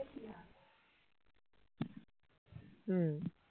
হম